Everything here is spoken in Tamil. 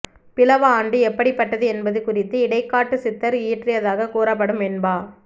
பிலவ ஆண்டு எப்படிப்பட்டது என்பது குறித்து இடைக்காட்டுச் சித்தர் இயற்றியதாக கூறப்படும் வெண்பா